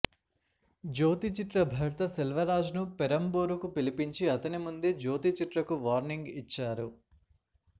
జ్యోతిచిత్ర భర్త సెల్వరాజ్ ను పెరంబూరుకు పిలిపించి అతని ముందే జ్యోతిచిత్రకు వార్నింగ్ ఇచ్చారు